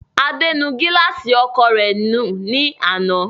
Adé nu gíláàsì ọkọ̀o rẹ̀ nù ní àná.